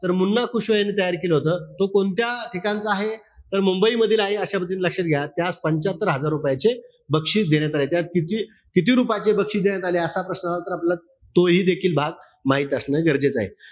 तर मुन्ना कुशवा यांनी तयार केलं होत. तो कोणत्या ठिकाणचा आहे? तर मुंबईमधील आहे. अशा पद्धतीने लक्षात घ्या. ते आज पंच्यात्तर हजार रुपयाचे बक्षीस देण्यात आलाय. त्यात किती, किती रुपयाचं बक्षीस देण्यात आले, असा प्रश्न आला तर आपल्याला तोही देखील भाग माहित असणे गरजेचंय.